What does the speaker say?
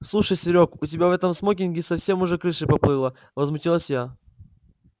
слушай серёг у тебя в этом смокинге совсем уже крыша поплыла возмутилась я